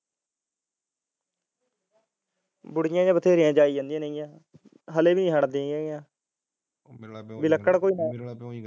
ਬੂੜੀਆਂ ਜਿਹੀਆਂ ਬਥੇਰੀਆਂ ਜਾਈ ਜਾਂਦੀਆਂ ਹਲੇ ਵੀ ਨੀ ਹੱਟਦੀਆਂ ਵੀ ਲੱਕੜ ਕੋਈ